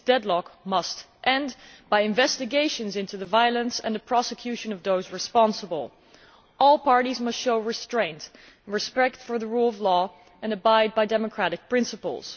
This deadlock must end, by investigations into the violence and the prosecution of those responsible. All parties must show restraint and respect for the rule of law and abide by democratic principles.